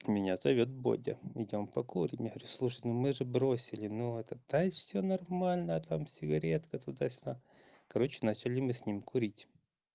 меня зовёт бодя идём покурим я говорю слушай ну мы же бросили но это да и всё нормально там сигаретка туда-сюда короче начали мы с ним курить